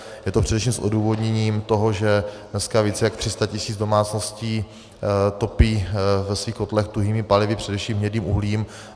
Je to především s odůvodněním toho, že dneska více jak 300 tisíc domácností topí ve svých kotlech tuhými palivy, především hnědým uhlím.